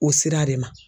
O sira de ma